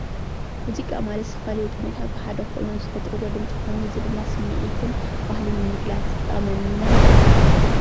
ሙዚቃ ማለት ዝተፈላለዩ ቅኒታት ብሓደ ኮይኖም ዝፈጥርዎ ድምፂ ኮይኑ እዚ ድማ ስምዒትን ባህልን ንምግላፅ ዝጠቕመና እዪ::